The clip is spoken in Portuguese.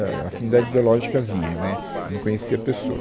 Ah, a afinidade ideológica havia, né, eu não conhecia a pessoa.